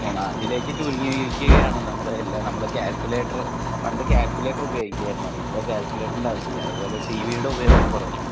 അതിലേക്ക് ചുരുങ്ങിയിരിക്കയാണ് നമ്മൾ നമ്മളെ പണ്ട് കാൽക്കുലേറ്റർ ഉപയോഗിക്കുമായിരുന്നു ഇപ്പോൾ അതിന്റെ ആവശ്യമില്ല. ഇപ്പോൾ ടീവീ യുടെ ഉപയോഗം കുറഞ്ഞു